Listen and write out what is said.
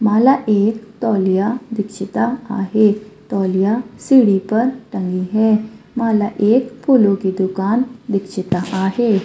मला एक टॉलीया दीक्षिता आहे टॉलीया सिडी पर टंगे है मला एक फुलो की दुकान दीक्षिता आहे.